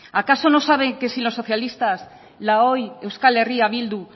acaso no saben que sin los socialistas la hoy euskal herria bildu